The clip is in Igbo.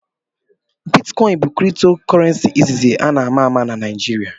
Bitcoin bụ kripto Kurrenci izizi na ama ama na Naịjirịa.